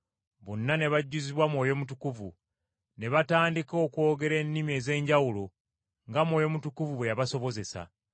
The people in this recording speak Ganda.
Bonna ne bajjuzibwa Mwoyo Mutukuvu, ne batandika okwogera ennimi ez’enjawulo nga Mwoyo Mutukuvu bwe yabasobozesa.